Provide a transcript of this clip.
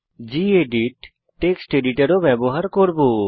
gedit text editor ও ব্যবহার করব